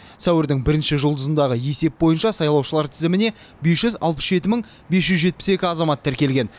сәуірдің бірінші жұлдызындағы есеп бойынша сайлаушылар тізіміне бес жүз алпыс жеті мың бес жүз жетпіс екі азамат тіркелген